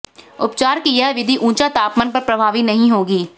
उपचार की यह विधि ऊंचा तापमान पर प्रभावी नहीं होगी